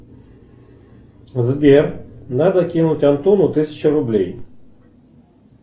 сбер надо кинуть антону тысячу рублей